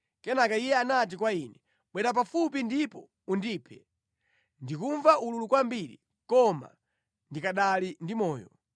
“Kenaka iye anati kwa ine, ‘Bwera pafupi ndipo undiphe! Ndikumva ululu kwambiri, koma ndikanali ndi moyo!’